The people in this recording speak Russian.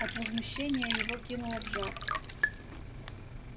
от возмущения его кинуло в жар